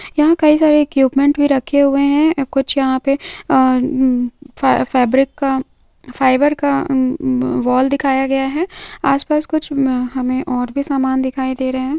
यहा कई सारे इक्विपमेंट भी रखे हुए है कुछ यहा पे फैब्रिक का फ़ाइबर का वॉल दिखाया गया है हमे और भी सामान धिकाई दे रहे है।